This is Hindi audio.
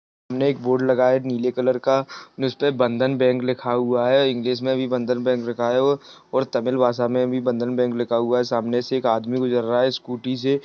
एक बोर्ड लगा है नीले कलर का जिसमे बंधन बैंक लिखा हुए है इंग्लिश मे भी बंधन बैंक लिखा हुआ है और तमिल भाषा मे भी बंधन बैंक लिखा हुआ है सामने से एक आदमी गुजर रहा है स्कूटी से।